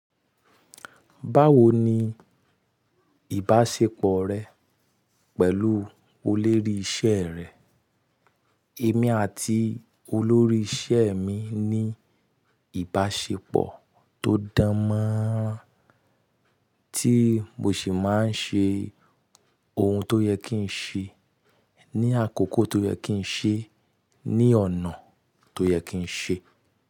Báwo ni ìbáṣepọ̀ rẹ pẹ̀lú olórí iṣẹ́ rẹ? Èmi àti olórí iṣẹ́ mi ní ìbáṣepọ̀ tó dán manrán, tí mo sì máa ń ṣe ohun tó yẹ kí n ṣe ní àkókò tó yẹ kí n ṣe ní ọ̀nà tó yẹ kí n ṣe.